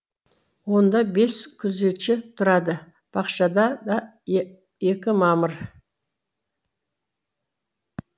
онда бес күзетші тұрады бақшада да екі мамыр